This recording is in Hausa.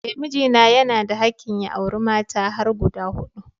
Eh mijina yana da hakkin ya auri mata har guda hudu